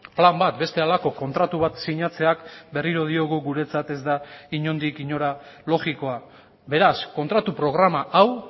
plan bat beste halako kontratu bat sinatzeak berriro diogu guretzat ez da inondik inora logikoa beraz kontratu programa hau